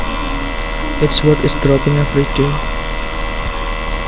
Its worth is dropping every day